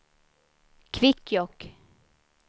Kvikkjokk